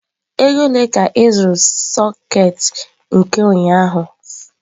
Ego ole ka ị zụrụ sekit nke ụnyaahụ?